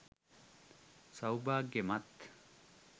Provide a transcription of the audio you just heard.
සෞභාග්‍යමත්